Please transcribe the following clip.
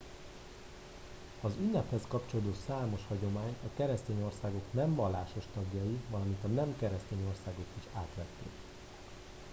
az ünnephez kapcsolódó számos hagyományt a keresztény országok nem vallásos tagjai valamint a nem keresztény országok is átvettek